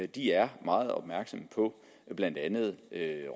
de er meget opmærksom på blandt andet